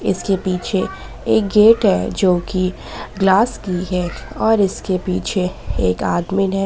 इसके पीछे एक गेट है जो की ग्लास की है और इसके पीछे एक आदमीन है।